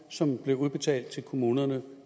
som bliver udbetalt til kommunerne